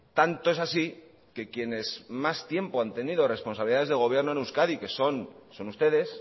tanto es así que quienes más tiempo han tenido responsabilidades de gobierno en euskadi que son ustedes